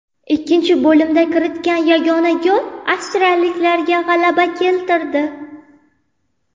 Ikkinchi bo‘limda kiritilgan yagona gol avstriyaliklarga g‘alaba keltirdi.